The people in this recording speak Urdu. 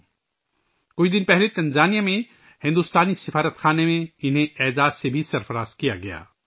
انہیں کچھ روز پہلے تنزانیہ میں بھارتی سفارت خانے میں بھی اعزاز سے نوازا گیا ہے